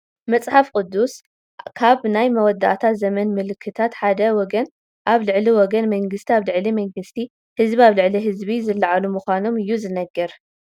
መፅሓፍ ቅዱስ ካብ ናይ መወዳእታ ዘመን ምልክታት ሓደ ወገን ኣብ ልዕሊ ወገን፣ መንግስቲ ኣብ ልዕሊ መንግስቲ፣ ህዝቢ ኣብ ልዕሊ ህዝቢ ዝልዓሉ ምዃኖም እዩ ዝነግር፡፡